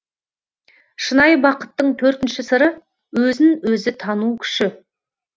шынайы бақыттың төртінші сыры өзін өзі тану күші